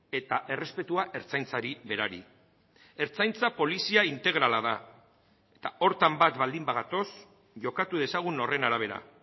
eta errespetua ertzaintzari berari ertzaintza polizia integrala da eta horretan bat baldin bagatoz jokatu dezagun horren arabera